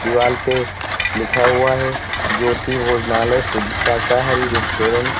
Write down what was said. दीवाल पे लिखा हुआ है ज्योति भोजनालय शुद्ध शाकाहारी रेस्टोरेंट।